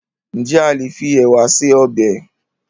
Ǹjẹ́ a lè fi ẹ̀wà se ọbẹ̀?